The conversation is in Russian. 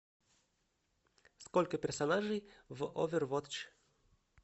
сколько персонажей в овервотч